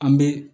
An bɛ